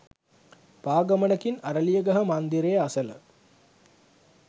පා ගමනකින් අරලියගහ මන්දරය අසල